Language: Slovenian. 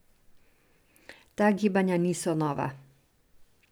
Ta gibanja niso nova.